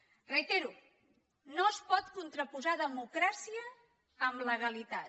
ho reitero no es pot contraposar democràcia amb legalitat